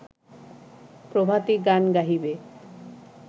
প্রভাতী গান গাহিবে